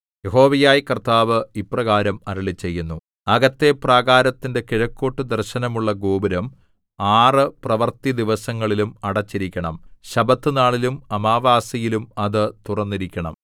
യഹോവയായ കർത്താവ് ഇപ്രകാരം അരുളിച്ചെയ്യുന്നു അകത്തെ പ്രാകാരത്തിന്റെ കിഴക്കോട്ടു ദർശനമുള്ള ഗോപുരം ആറ് പ്രവൃത്തിദിവസങ്ങളിലും അടച്ചിരിക്കണം ശബ്ബത്തുനാളിലും അമാവാസിയിലും അത് തുറന്നിരിക്കണം